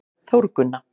Þórgunna